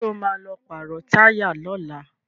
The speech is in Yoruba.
Sọ ma lọ pàrọ̀ táyà lọ́la?